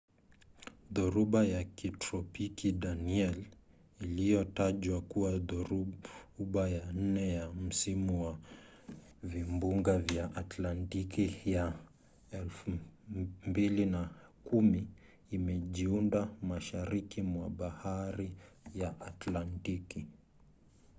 dhoruba ya kitropiki danielle iliyotajwa kuwa dhoruba ya nne ya msimu wa vimbunga vya atlantiki vya 2010 imejiunda mashariki mwa bahari ya atlantiki